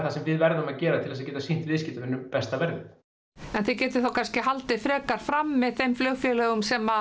sem við verðum að gera til þess að geta sýnt viðskiptavinum besta verðið en þið getið þá kannski haldið frekar frammi þeim flugfélögum sem